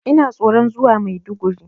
Ina tsoron zuwa Maiduguri.